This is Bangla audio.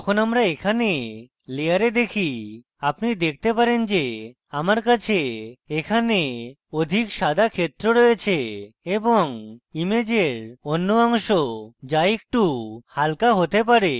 যখন আমরা এখানে layer দেখি আপনি দেখতে পারেন যে আমার কাছে এখানে অধিক সাদা ক্ষেত্র রয়েছে এবং ইমেজের অন্য অংশ যা একটু হালকা হতে পারে